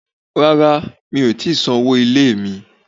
Rárá, mi ò ti san owó ilé mi